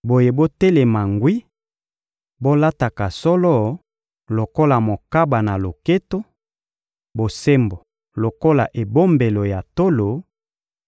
Boye botelema ngwi, bolataka solo lokola mokaba na loketo, bosembo lokola ebombelo ya tolo,